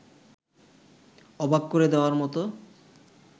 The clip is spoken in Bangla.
অবাক করে দেওয়ার মতো